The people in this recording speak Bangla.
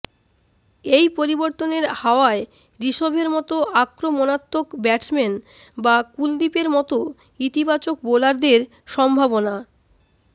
এই পরিবর্তনের হাওয়ায় ঋষভের মতো আক্রমণাত্মক ব্যাটসম্যান বা কুলদীপের মতো ইতিবাচক বোলারদের সম্ভাবনা